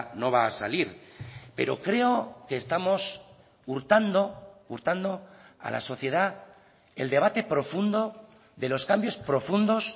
no va a salir pero creo que estamos hurtando hurtando a la sociedad el debate profundo de los cambios profundos